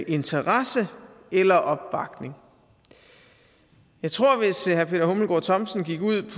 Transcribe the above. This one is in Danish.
interesse eller opbakning jeg tror at hvis herre peter hummelgaard thomsen gik ud